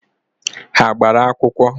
Ha gbara akwụkwọ?